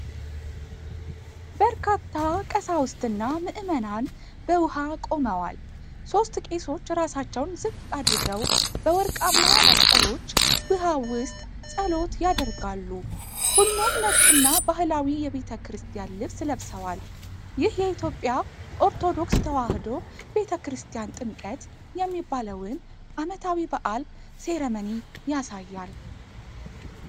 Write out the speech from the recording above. በርካታ ቀሳውስትና ምዕመናን በውሃ ቆመዋል። ሦስት ቄሶች ራሳቸውን ዝቅ አድርገው በወርቃማ መስቀሎች ውሃው ውስጥ ጸሎት ያደርጋሉ። ሁሉም ነጭና ባህላዊ የቤተ ክርስቲያን ልብስ ለብሰዋል። ይህ የኢትዮጵያ ኦርቶዶክስ ተዋሕዶ ቤተ ክርስቲያን ጥምቀት የሚባለውን ዓመታዊ በዓል ሴረመኒ ያሳያል?